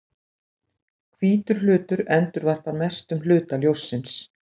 Hvítur hlutur endurvarpar mestum hluta ljóssins.